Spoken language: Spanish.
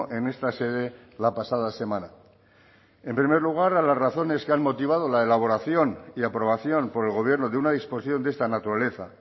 en esta sede la pasada semana en primer lugar a las razones que han motivado la elaboración y aprobación por el gobierno de una disposición de esta naturaleza